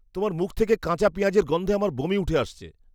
তোমার মুখ থেকে কাঁচা পেঁয়াজের গন্ধে আমার বমি উঠে আসছে।